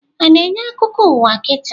A na-enye akụkọ ụwa kita?